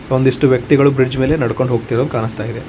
ಒಂದಿಷ್ಟು ವ್ಯಕ್ತಿಗಳು ಬ್ರಿಡ್ಜ್ ಮೇಲೆ ನಡ್ಕೊಂಡ್ ಹೋಗ್ತಿರೋ ಹಂಗ್ ಕಾಣಿಸ್ತಾ ಇದೆ.